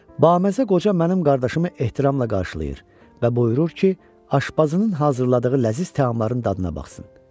Baməzə qoca mənim qardaşımı ehtiramla qarşılayır və buyurur ki, aşbazının hazırladığı ləziz təamların dadına baxsın.